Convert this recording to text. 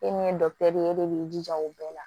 E min ye ye e de b'i jija o bɛɛ la